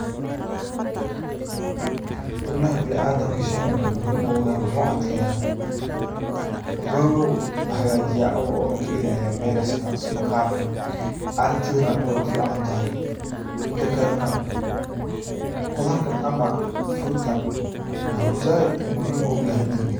xubnaha biniadamka shaygan waxuu muhiim ogu yahay waxuu adkeeya. Waxuu hagajiya uu na ka ilaaliya virus ka maqarka aragtida na way u ficantahy. Mida kale na qudarkan ama fruit kan waxuu zaiid muhiim ogu yahay diiga.